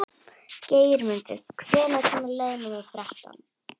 Geirmundur, hvenær kemur leið númer þrettán?